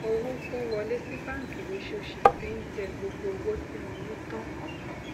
owó tó ń wọlé sí báńkì lóṣooṣù ti ń jẹ gbogbo owó tí mo ní tán